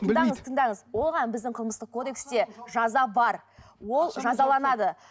тыңдаңыз тыңдаңыз оған біздің қылмыстық кодексте жаза бар ол жазаланады